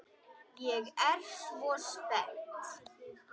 Ég er svo spennt.